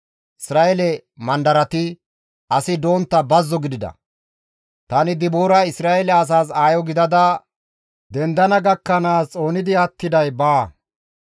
Isra7eele mandarati asi dontta bazzo gidida. Tani Dibooray Isra7eele asaas aayo gidada dendana gakkanaas xoonidi attiday baawa.